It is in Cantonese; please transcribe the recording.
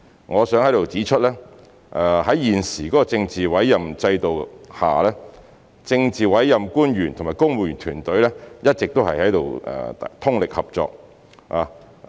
我想在此指出，在現時政治委任制度下，政治委任官員與公務員團隊一直通力合作。